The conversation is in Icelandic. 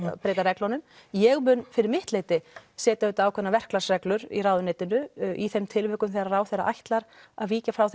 breyta reglum ég mun fyrir mitt leyti setja ákveðnar verklagsreglur í ráðuneytinu í þeim tilvikum þegar ráðherra ætlar að víkja frá